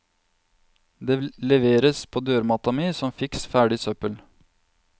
Det leveres på dørmatta mi som fiks ferdig søppel.